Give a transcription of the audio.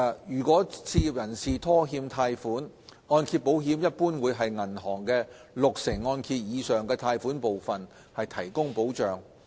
如果置業人士拖欠貸款，按揭保險一般會為銀行六成按揭以上的貸款部分提供保障。